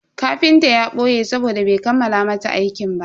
Kafintan ya boye sabode bai kammala mata aikinta ba.